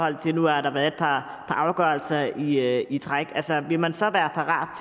at der nu har været et par afgørelser i i træk altså vil man så være parat